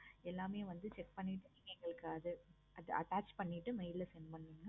எல்லாமே வந்து check பண்ணிட்டு எங்களுக்கு அத attach பண்ணிட்டு mail ல send பண்ணுங்க.